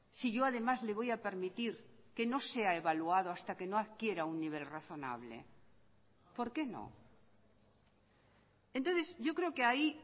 si yo además le voy a permitir que no sea evaluado hasta que no adquiera un nivel razonable por qué no entonces yo creo que ahí